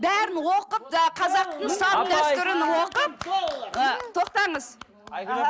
бәрін оқып ы қазақтың салт дәстүрін оқып ы тоқтаңыз